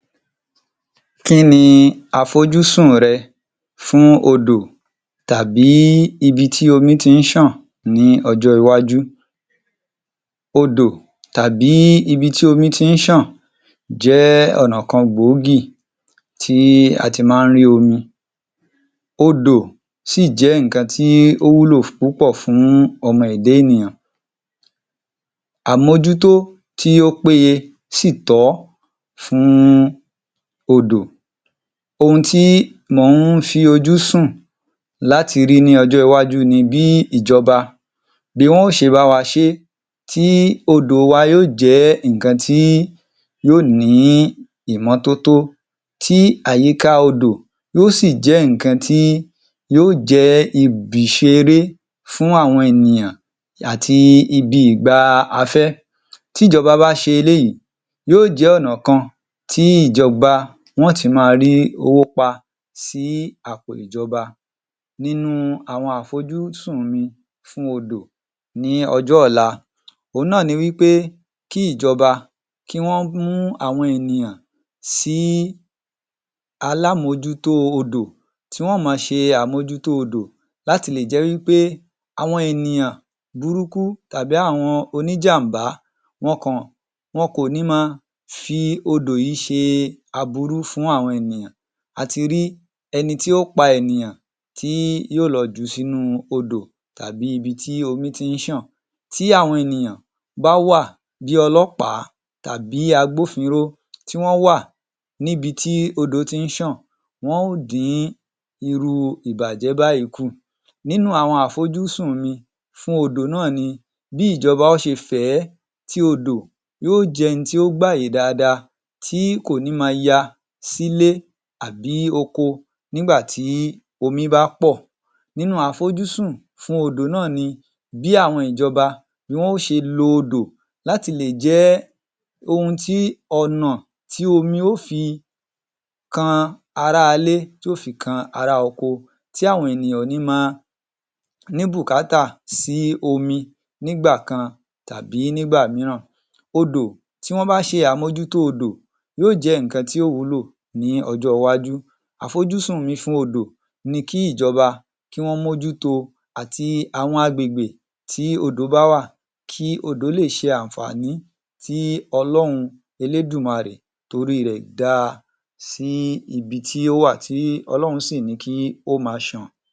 Kí ni àfojúsùn rẹ fún odò tàbí ibi tí omi ti ń ṣàn ní ọjọ́ iwájú? Odò tàbí ibi tí omi ti ń ṣàn jẹ́ ọ̀nà kan gbòógì tí a ti máa ń rí omi. Odò sì jẹ́ nǹkan tí ó wúlò púpọ̀ fún ọmọ ẹ̀dá ènìyàn, Àmójútó tí ó péye sì tọ́ fún odò. Ohun tí mò ń fi ojú sùn láti rí ní ọjọ́ iwájú ni bí ìjọba, bí wọ́n ṣe bá wa ṣe é tí odò wa yóò jẹ́ nǹkan tí yóò ní ìmọ́tótó tí àyíká odò yóò sì jé ǹnkan tí yóò jẹ́ ibiṣeré fún àwọn ènìyàn àti ibi ìgba afẹ́, tí ìjọba bá ṣe eléyìí, yóò jẹ́ ọ̀nà kan tí ìjọba wọ́n tún máa rí owó pa sí àpò ìjọba. Nínú àwọn àfojúsùn ni fún odò ní ọjọ́ ọ̀la, òhun náà ni wí pé kí ìjọba kí wọ́n mú àwọn ènìyàn sí alámójútó odò, tí wọ́n ma ṣe àmójútó odò láti lè jẹ́ wí pé àwọn ènìyàn burúkú tàbí àwọn oníjàm̀bá, wọn kàn, wọn kò ní máa fi odò yìí ṣe aburú fún àwọn ènìyàn. A ti rí ẹni tí ó pa ènìyàn tí yóò lọ jù u h sínú odò tàbí ibi tí omi ti ń ṣàn, bí àwọn ènìyàn bá wà bí ọlọ́pàá tàbí agbófinró, tí wọ́n wà níbi tí odò ti ń ṣàn, wọ́n ó dín irú ìbàjẹ́ báyìí kù. Nínú àwọn àfojúsùn mi náà ni bí ìjọba ó ṣe fẹ̀ ẹ́ tí odò yóò jẹ́ ohun tí ó gbàyè dáadáa, tí kò ní máa ya sílé àbí oko nígbà tí omi bá pọ̀, nínú àfojúsùn fún odò náà ni bí àwọn ìjọba, bí wọ́n ó ṣe lo odò láti le jẹ́ ohun ti, ọ̀nà tí omi ó fi kan ará ilé, tí ó fi kan ará oko, tí àwọn ènìyàn ò ní máa ní bùkátà sí omi nígbà kan tàbí nígbà mìíràn. Odò, tí wọ́n bá ṣe àmójútó odò, yóò jẹ́ ǹnkan tí ó wúlò ní ọjọ́ iwájú. Àfojúsùn mi fún odò ni kí ìjọba kí wọ́n mójúto àti àwọn agbègbè tí odò bá wà, kí odò le ṣe àǹfààní tí Ọlọ́run Elédùmarè torí rẹ̀ dá sí ibi tí ó wà tí Ọlọ́run sì ní kí ó máa ṣàn.